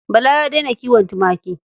Bala ya daina kiwon tumaki.